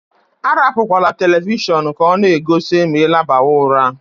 Arapukwala televishọọnu ka ọ na-egosi ma I labawa ụra.